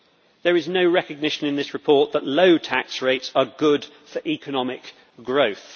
There is no recognition in this report that low tax rates are good for economic growth.